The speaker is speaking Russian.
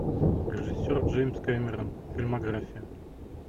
режиссер джеймс кэмерон фильмография